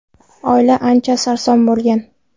Oila ancha sarson bo‘lgan.